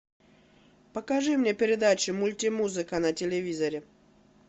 покажи мне передачу мульти музыка на телевизоре